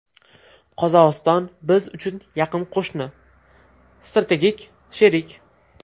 Qozog‘iston biz uchun yaqin qo‘shni, strategik sherik.